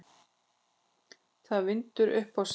Það vindur upp á sig.